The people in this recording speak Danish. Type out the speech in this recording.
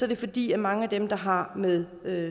det fordi mange af dem der har med